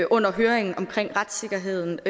under høringen om retssikkerheden